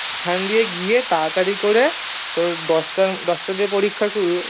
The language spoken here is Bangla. ওখান দিয়ে গিয়ে তাড়াতাড়ি করে তোর দশটা দশটার দিকে পরীক্ষা শুরু